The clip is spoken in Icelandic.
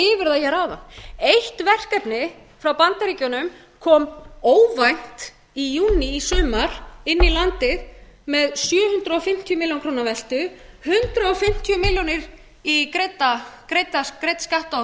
það hér áðan eitt verkefni frá bandaríkjunum kom óvænt í júní í sumar inn í landið með sjö hundruð fimmtíu milljónir króna veltu hundrað fimmtíu milljónir í greidda skatta og